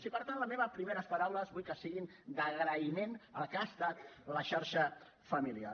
i per tant les meves primeres paraules vull que siguin d’agraïment al que ha estat la xarxa familiar